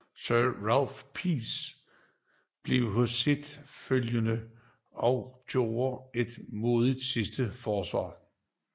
Sir Ralph Percy blev hos sit følge og gjorde et modig sidste forsvar